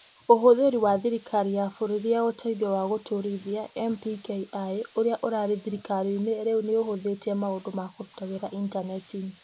Ũhũthĩri wa Thirikari ya Bũrũri ya Ũteithio wa Gũtũũrithia (NPKI) ũrĩa ũrarĩ thirikari-inĩ rĩu nĩ ũhutĩtie maũndũ ma kũruta wĩra Intaneti-inĩ.